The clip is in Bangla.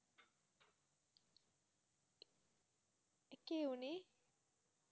কে অনি